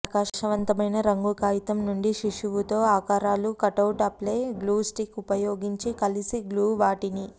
ప్రకాశవంతమైన రంగు కాగితం నుండి శిశువు తో ఆకారాలు కటౌట్ ఆపై గ్లూ స్టిక్ ఉపయోగించి కలిసి గ్లూ వాటిని